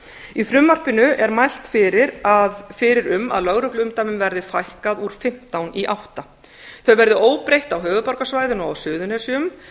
í frumvarpinu er mælt fyrir um að lögregluumdæmum verði fækkað úr fimmtán í átta þau verði óbreytt á höfuðborgarsvæðinu og á suðurnesjum